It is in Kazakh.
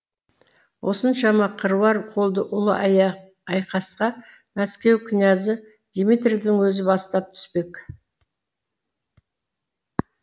осыншама қыруар қолды ұлы айқасқа мәскеу князі дмитрийдің өзі бастап түспек